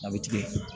A bɛ tigɛ